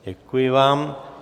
Děkuji vám.